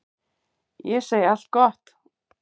Ég segi allt gott.